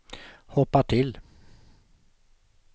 hoppa till